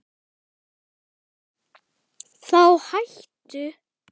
Þá hættu